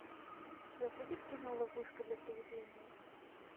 у тебя будет кино ловушка для приведения